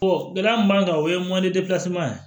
gɛlɛya min b'an kan o ye mɔnɛ